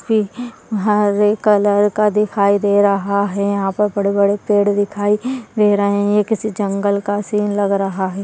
हरे colour का दिखाई दे रहा है यहां पे बड़े-बड़े पेड़ दिखाई दे रहे हैं किसी जंगल का सीन लग रहा है।